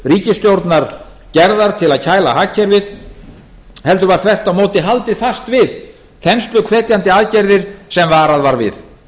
ríkisstjórnar gerðar til að kæla hagkerfið heldur var þvert á móti haldið fast við þensluhvetjandi aðgerðir sem varað var við